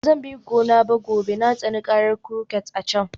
Ba zan bi ku gona gobe ba, na tsani karar kurket a can